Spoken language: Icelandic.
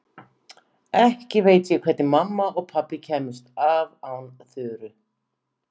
Ekki veit ég hvernig mamma og pabbi kæmust af án Þuru.